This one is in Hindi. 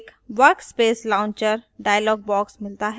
हमें एक workspace launcher dialog box मिलता हैं